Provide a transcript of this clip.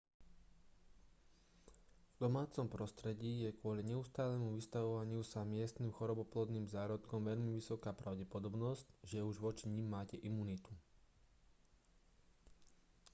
v domácom prostredí je kvôli neustálemu vystavovaniu sa miestnym choroboplodným zárodkom veľmi vysoká pravdepodobnosť že už voči nim máte imunitu